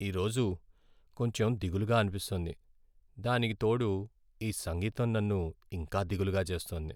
ఈ రోజు కొంచెం దిగులుగా అనిపిస్తోంది, దానికి తోడు ఈ సంగీతం నన్ను ఇంకా దిగులుగా చేస్తోంది.